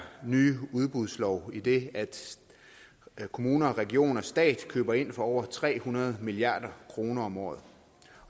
nye forslag udbudslov idet kommuner regioner og stat køber ind for over tre hundrede milliard kroner om året